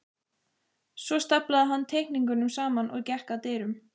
Svo staflaði hann teikningunum saman og gekk að dyrunum.